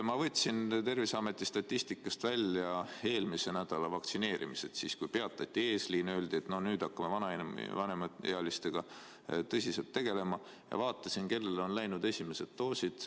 Ma võtsin Terviseameti statistikast välja eelmise nädala vaktsineerimised – siis peatati eesliin ja öeldi, et nüüd hakkame vanemaealistega tõsiselt tegelema – ja vaatasin, kellele on läinud esimesed doosid.